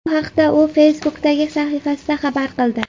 Bu haqda u Facebook’dagi sahifasida xabar qildi .